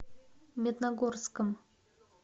медногорском